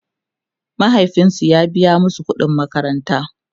mahaifinsu ya biya masu ƙuɗin makaranta